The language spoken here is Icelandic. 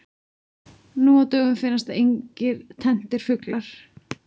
Nú á dögum finnast engir tenntir fuglar.